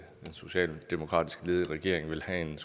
socialdemokratisk ledede regering ville have en